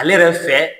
Ale yɛrɛ fɛ